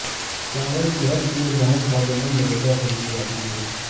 چاول صحت کے لیے نہایت فائدہ مند غذا سمجھی جاتی ہے